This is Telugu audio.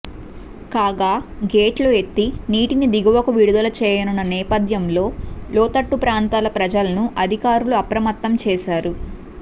కాగా గేట్లు ఎత్తి నీటిని దిగువకు విడుదల చేయనున్న నేపథ్యంలో లోతట్టు ప్రాంతాల ప్రజలను అధికారులు అప్రమత్తం చేశారు